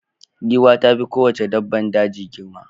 Giwa ta fi kowace dabbar daji girma.